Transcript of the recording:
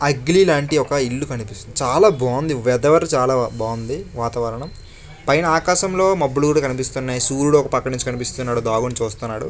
Ugly లాంటి ఒక ఇల్లు కనిపిస్తుంది. చాలా బాగుంది వెదర్ చాలా బాగుంది. వాతావరణం పైన ఆకాశంలో మబ్బులు కూడా కనిపిస్తున్నాయి. సూర్యుడు ఒక పక్క నుంచి కనిపిస్తున్నాడు. దాగుండి చూస్తున్నాడు.